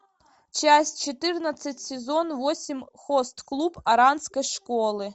часть четырнадцать сезон восемь хост клуб оранской школы